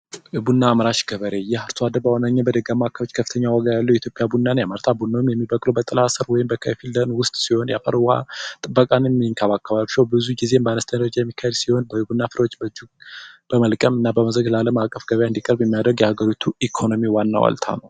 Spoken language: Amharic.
የቡና አምራች ገበሬ ይህ አሶ አደር በዋነኝነት በደጋማ አከባቢዎች በዋንኛነት ከፍተኛ ዋጋ ያለው የኢትዮጵያ ቢና ያመርታል። ቡናውም ብዙ ጊዜም በከነስቸኛ ጀረጄዎች የሚካሄድ ሲሆን በእጅ በመልቀም ለአለም አቀፍ ገበያ እንዲቀርብ የሚያደርግ የሀገሪቱ ኢኮኖሚ ዋና ዋልታ ነው።